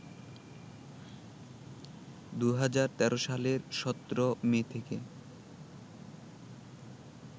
২০১৩ সালের ১৭ মে থেকে